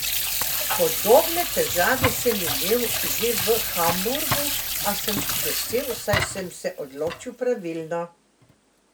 Podobne težave sem imel že v Hamburgu, a sem vesel, saj sem se odločil pravilno.